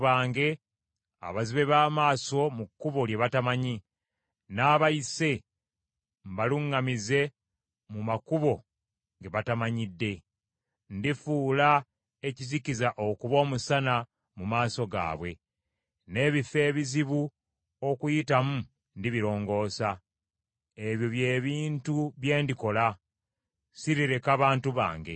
Era ndikulembera abantu bange abazibe ba maaso mu kkubo lye batamanyi n’abayise mbaluŋŋamize mu makubo ge batamanyidde. Ndifuula ekizikiza okuba omusana mu maaso gaabwe n’ebifo ebizibu okuyitamu ndibirongoosa. Ebyo by’ebintu bye ndikola, sirireka bantu bange.